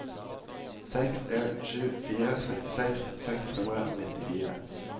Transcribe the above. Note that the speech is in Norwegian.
seks en sju fire sekstiseks seks hundre og nittifire